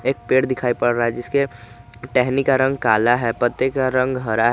पेड़ दिखाई पर रहा है जिसके टहनी का रंग काला है पत्ते का रंग हरा है।